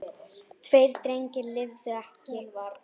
Tveir drengir lifðu ekki.